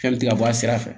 Fɛn mi ti ka bɔ a sira fɛ